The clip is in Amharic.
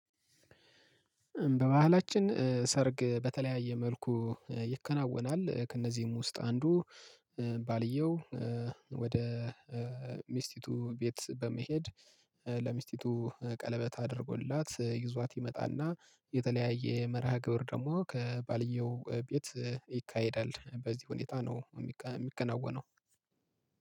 በባህላችን ሰርግ በተለያየ መልኩ ይከናወናል ከእነዚህም ውስጥ አንዱ ባልየው ወደ ሚስቲቱ ቤት በመሄድ ለሚስቲቱ ቀለበት አድርጎላት ይዟት ይመጣና የተለያየ መርሃ ግብር ደግሞ ከባልየው ቤት ይካሄዳል። በዚህ ሁኔታ ነው የሚከናወነው